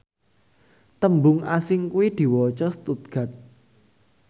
tembung asing iku diwaca stuttgart